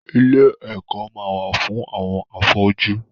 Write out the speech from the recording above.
Ilé ẹ̀kọ́ ma wà fún àwọn afọ́jú.